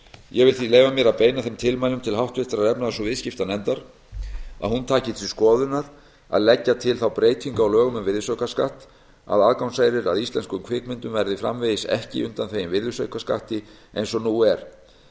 ég vil því leyfa mér að beina þeim tilmælum til háttvirtrar efnahags og viðskiptanefndar að hún taki til skoðunar að leggja til þá breytingu á lögum um virðisaukaskatt að aðgangseyrir að íslenskum kvikmyndum verði framvegis ekki undanþeginn virðisaukaskatti eins og nú er